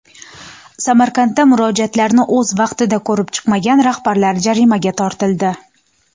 Samarqandda murojaatlarni o‘z vaqtida ko‘rib chiqmagan rahbarlar jarimaga tortildi.